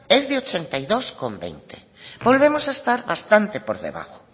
es de ochenta y dos coma veinte volvemos a estar bastante por debajo